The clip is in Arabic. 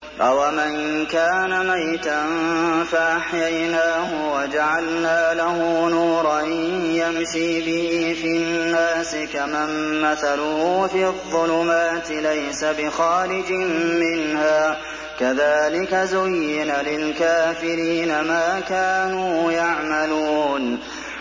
أَوَمَن كَانَ مَيْتًا فَأَحْيَيْنَاهُ وَجَعَلْنَا لَهُ نُورًا يَمْشِي بِهِ فِي النَّاسِ كَمَن مَّثَلُهُ فِي الظُّلُمَاتِ لَيْسَ بِخَارِجٍ مِّنْهَا ۚ كَذَٰلِكَ زُيِّنَ لِلْكَافِرِينَ مَا كَانُوا يَعْمَلُونَ